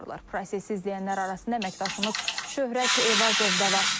Prosesi izləyənlər arasında əməkdaşımız Şöhrət Eyvazov da var.